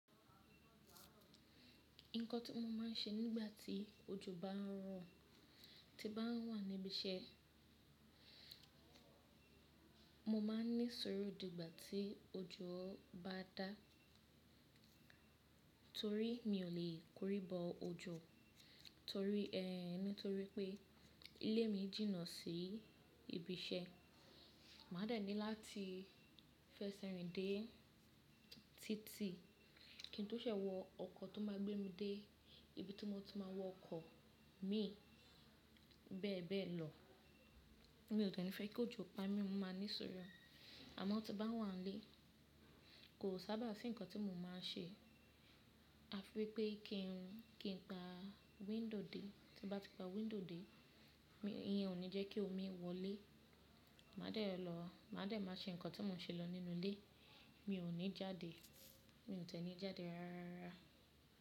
Nǹkan tí mo máa ń ṣe nígbà tí ojò bá ń rọ̀, tí nbá ń wà níbi iṣẹ́, mo máa ní suru dígbà tí ojò bá dá. Torí mi ò lè korí bọ ojò torí, nítorí pé ilé mi jìnnà sí ibi iṣẹ́. Màá dẹ̀ ní láti fẹsẹ̀ rìn dé títì kí n tó ṣe wọ ọkọ̀ tó máa gbé mi dé ibi tí mo ti máa wọ ọkọ̀ mi bẹ́ẹ̀ bẹ́ẹ̀ lọ. Mi ò dẹ́ nfẹ́ kí ojò pa mí, mo máa ní sọrọ̀. Àmọ́ tí nbá wà nílé, kò sábà sí ǹkan tí mo máa ń ṣe. A fi wípé kí n pa window dé, tí bá ti pa window dé, iyen ò ní jẹ́ kí omi wọlé. Màá dẹ̀ lọ, màá dẹ̀ máa ṣe ǹkan tí mo ṣe lọ nínú ilé. Mi ò ní jáde, mi ò tẹ́ni jáde rárá.